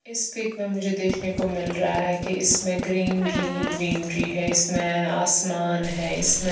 इस पिक में मुझे देखने को मिल रहा है की इसमें ग्रीन री ग्रीन री है इसमें आसमान है इसमें--